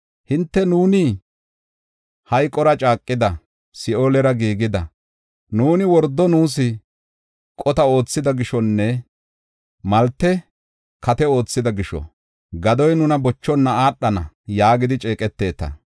Hinte, “Nuuni hayqora caaqida; Si7oolera giigida; nuuni wordo nuus qota oothida gishonne malte kate oothida gisho, gadoy nuna bochonna aadhana” yaagidi ceeqeteta.